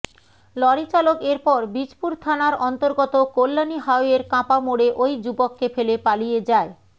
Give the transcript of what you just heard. lorry চালক এরপর বীজপুর থানার অন্তর্গত কল্যাণী হাইওয়ের কাঁপা মোড়ে ওই যুবককে ফেলে পালিয়ে যায়